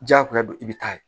Diyagoya don i bɛ taa ye